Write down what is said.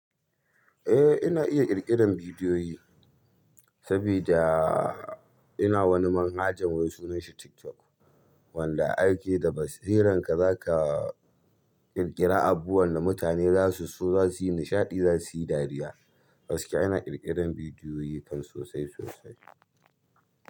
Eh ina iya kirge da vidiyoyi sabida ina wani manhaja wai sunan shi TikTok, wanda aike da basiran ka zaka ƙirƙira abubuwan da mutane zasu so, zasu yi nishaɗi, zasu yi dariya. Gaskiya ina ƙirƙiran bidiyoyi kan sosai sosai.